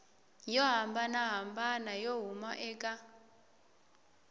yo hambanahambana yo huma eka